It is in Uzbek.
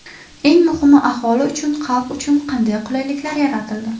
Eng muhimi, aholi uchun, xalq uchun qanday qulaylik yaratildi?